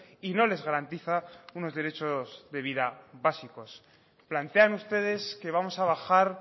y no les garantiza unos derechos de vida básicos plantean ustedes que vamos a bajar